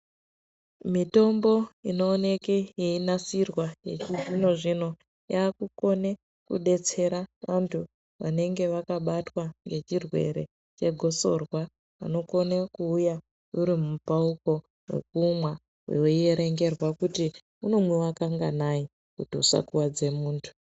Mitombo inooneke yeinasirwa yechizvino zvino yakukone kudetsera vantu vanenge vakabatwa ngechirwere chegosorwa vanokone kuuya uri mupauko wekumwa weierengerwa kuti unomwiwa kanganai kuti usakuwadze muntu.